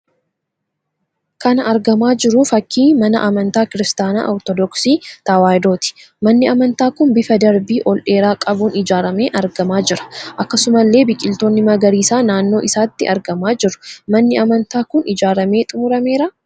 Kana argamaa jiru fakkii mana amantaa kiristaanaa 'Ortodoksii Tewaayidooti'. Manni amantaa kun bifa darbii ol dheeraa qabuun ijaaramee argamaa jira. Akkasumallee biqiltoonni magariisaa naannoo isaatti argamaa jiru. Manni amantaa kun ijaaramee xumurameeraa?